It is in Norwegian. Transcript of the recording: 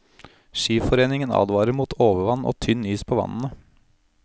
Skiforeningen advarer mot overvann og tynn is på vannene.